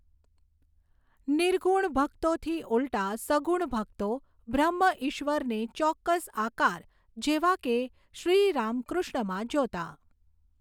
નિર્ગુણ ભકતોથી ઉલટા સગુણ ભકતો બ્રહ્મ ઈશ્વરને ચોક્કસ આકાર જેવા કે શ્રીરામકૃષ્ણમાં જોતા.